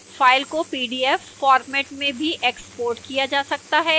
file को pdf format में भी exported किया जा सकता है